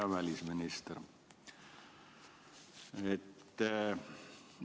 Hea välisminister!